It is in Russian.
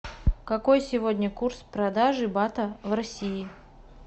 какой сегодня курс продажи бата в россии